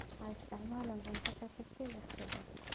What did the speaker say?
Ha isticmaalin cunto ka tagtay wakhti dheer.